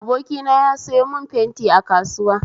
Abokina ya sayo mun fenti a kasuwa